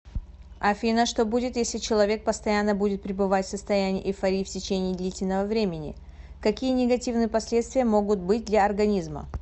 афина что будет если человек постоянно будет пребывать в состоянии эйфории в течении длительного времени какие негативные последствия могут быть для организма